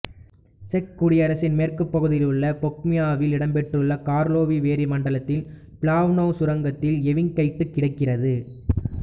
check குடியரசின் மேற்கு பகுதியிலுள்ள பொகிமியாவில் இடம்பெற்றுள்ள கார்லோவி வேரி மண்டலத்தின் பிளாவ்னோ சுரங்கத்தில் எவிங்கைட்டு கிடைக்கிறது